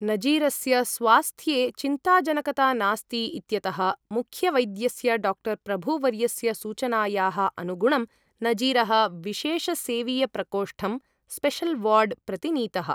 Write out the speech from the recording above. नजीरस्य स्वास्थ्ये चिन्ताजनकता नास्ति इत्यतः मुख्यवैद्यस्य डाक्टर् प्रभुवर्यस्य सूचनायाः अनुगुणं नजीरः विशेष सेवीयप्रकोष्ठं स्पेशल्वार्ड् प्रति नीतः ।